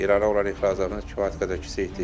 İrana olan ixracatımız kifayət qədər kiçikdir.